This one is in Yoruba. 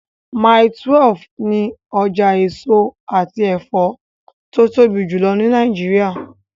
Mile 12 ni ọjà èso àti ẹ̀fọ́ tó tóbi jùlọ ní Nàìjíríà.